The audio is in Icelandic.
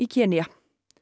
Kenía